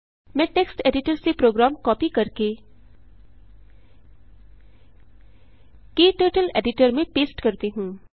मैं text editor से program copy करके क्टर्टल एडिटर में पेस्ट करती हूँ